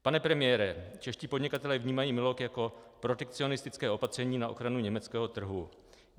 Pane premiére, čeští podnikatelé vnímají MILoG jako protekcionistické opatření na ochranu německého trhu.